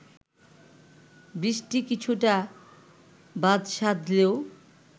বৃষ্টি কিছুটা বাদসাধলেও